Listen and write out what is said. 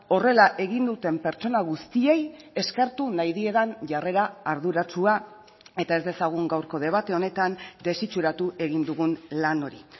horrela egin duten pertsona guztiei eskertu nahi diedan jarrera arduratsua eta ez dezagun gaurko debate honetan desitxuratu egin dugun lan hori